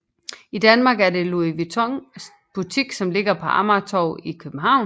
I Danmark er der en Louis Vuitton butik som ligger på Amagertorv i København